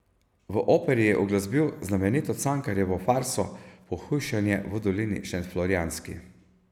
V operi je uglasbil znamenito Cankarjevo farso Pohujšanje v dolini šentflorjanski.